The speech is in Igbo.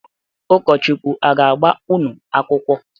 Ụkọchukwu a ga-agba unu akwụkwọ?